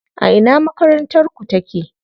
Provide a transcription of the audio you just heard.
A ina makarantar ku take?